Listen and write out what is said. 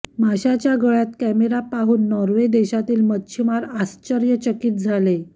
माशाच्या गळ्यात कॅमेरा पाहून नॉर्वे देशातील मच्छिमार आश्चर्यचकित झाले